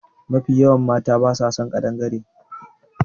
Mafi yawan mata ba sa son ƙadangare